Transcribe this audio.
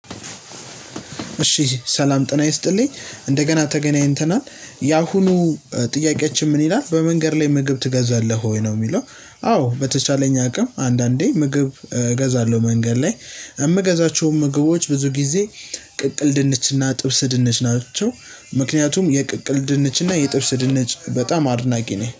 እሺ ሰላም ጤና ይስጥልኝ እንደገና ተገናኝተናል ያሁኑ ጥያቂያቺን ምን ይላል በመንገድ ላይ ምግብ ትገዛለህ ወይ ነው የሚለው? አዎ በተቻለኝ አቅም አንዳንዴ እገዛለው። መንገድ ላይ እምገዛቸውም ምግቦች ብዙ ጊዜ ቅቅል ድንችና ጥብስ ድንች ናቸው። ምክንያቱም የቅቅል ድንች እና የጥብስ ድንች በጣም አድናቂ ነኝ